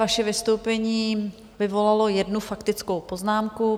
Vaše vystoupení vyvolalo jednu faktickou poznámku.